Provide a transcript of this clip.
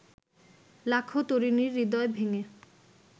লাখো তরুণীর হৃদয় ভেঙে